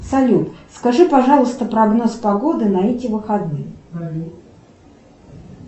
салют скажи пожалуйста прогноз погоды на эти выходные